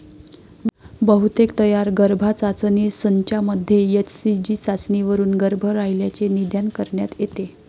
बहुतेक तयार गर्भाचाचणी संचामध्ये एचसीजी चाचणीवरून गर्भ राहिल्याचे निदान करण्यात येते.